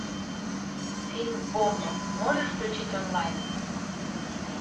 фильм бомба можешь включить онлайн